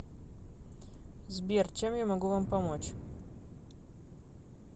сбер чем я могу вам помочь